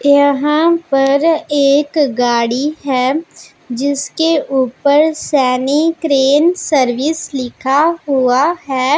यहां पर एक गाड़ी है जिसके ऊपर सैनिक क्रेन सर्विस लिखा हुआ है।